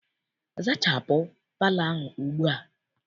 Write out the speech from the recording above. Zachapụ palọ ahụ ugbua!